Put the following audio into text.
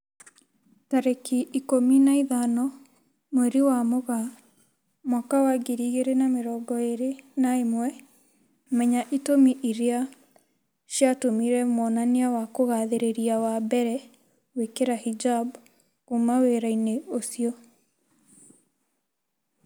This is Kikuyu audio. Tarĩki ikũmi na ithano mweri wa Mũgaa mwaka wa ngiri igĩri na mĩrongo ĩri na ĩmwe, Menya itũmi irĩa ciatũmire mwonania wa kugathĩrĩria wa mbere gwĩkira hijab "kuma wĩra-inĩ ucio"